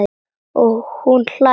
Og hún hlær hátt.